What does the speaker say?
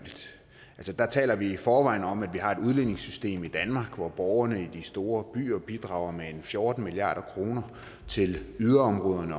taler i forvejen om at vi har et udligningssystem i danmark hvor borgerne i de store byer bidrager med fjorten milliard kroner til yderområderne